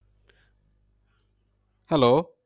Hello